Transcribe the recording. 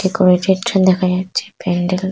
decorated দেখা যাচ্ছে প্যান্ডেল--